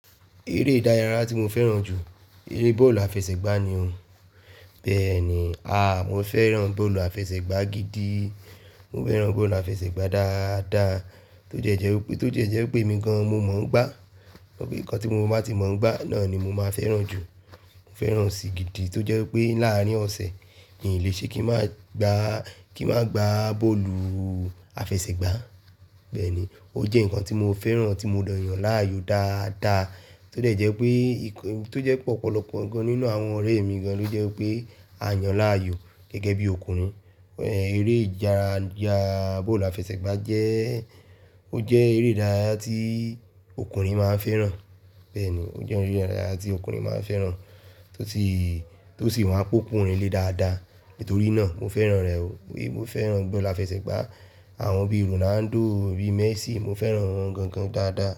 Eré ìdárayá tí mo fẹ́ràn jù, eré bọ́ọ̀lù àfẹsẹ̀gbá ni. Bẹ́ẹ̀ni, a, mo fẹ́ràn bọ́ọ̀lù àfẹsẹ̀gbá gidi. Mo fẹ́ràn bọ́ọ̀lù àfẹsẹ̀gbá dáadáa tó jẹ́ jẹ́ pé, tó jẹ́ jẹ́ pé mi gan-an mo mọ̀ ọ́n gbá. Nǹkan tí mo bá ti mọ̀ ọ́n gbá náà ni mo máa fẹ́ràn jù. Mo fẹ́ràn sì gidi tó jẹ́ pé láàárín ọ̀sẹ̀ mi ò le ṣe kí n má gba, kí n má gba bọ́ọ̀lù àfẹsẹ̀gbá. Bẹ́ẹ̀ni, ó jẹ́ nǹkan tí mo fẹ́ràn, tí mo dọ̀yàn láàyò dáadáa tó jẹ́ pé ìkan, tó jẹ́ pé ọ̀pọ̀lọpọ̀ nǹkan nínú àwọn ọ̀rẹ́ mi gan-an ló jẹ́ pé a yàn láàyò gẹ́gẹ́ bí ọkùnrin. Eré ìdárayá bọ́ọ̀lù àfẹsẹ̀gbá jẹ́, ó jẹ́ eré ìdárayá tí ọkùnrin máa ń fẹ́ràn. Bẹ́ẹ̀ni, ó jẹ́ eré ìdárayá tí ọkùnrin máa ń fẹ́ràn tó sì, tó sì máa ń pokùnrin lé dáadáa. Nítorí náà mo fẹ́ràn rẹ̀ o. Mo fẹ́ràn bọ́ọ̀lù àfẹsẹ̀gbá. Àwọn bí Ronaldo, bí Messi mo fẹ́ràn wọ́n gan-an dáadáa.